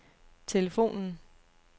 telefonen